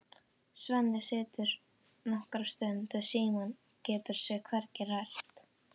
Svenni situr nokkra stund við símann, getur sig hvergi hrært.